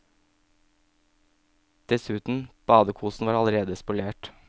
Dessuten, badekosen var allerede spolert.